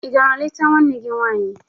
Ị gara leta nwanne gị nwaanyị?